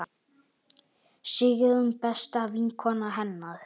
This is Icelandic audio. Sigrún besta vinkona hennar.